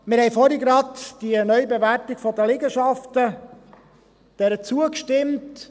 Wir haben vorhin gerade der Neubewertung der Liegenschaften zugestimmt.